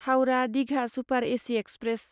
Howrah Digha super AC express